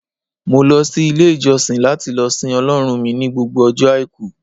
mo lo sí ilé ìjósìn lati lo sìn ọlọrun mi ni gbogbo ojo aiku